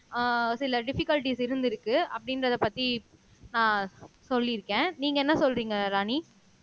அஹ் சில டிபிகல்ட்டிஸ் இருந்திருக்கு அப்படின்றதைப் பத்தி அஹ் சொல்லிருக்கேன் நீங்க என்ன சொல்றீங்க ராணி